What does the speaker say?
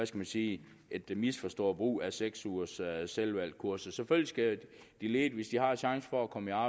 man sige misforstået brug af seks ugers selvvalgt kursus selvfølgelig skal de ledige hvis de har chance for at komme